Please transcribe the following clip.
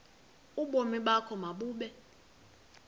ubomi bakho mabube